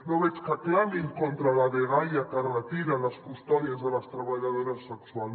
no veig que clamin contra la dgaia que retira les custòdies de les treballadores sexuals